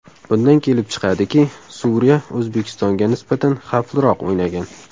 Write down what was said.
Bundan kelib chiqadiki, Suriya O‘zbekistonga nisbatan xavfliroq o‘ynagan.